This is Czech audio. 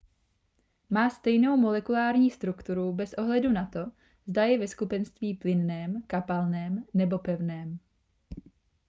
má stejnou molekulární strukturu bez ohledu na to zda je ve skupenství plynném kapalném nebo pevném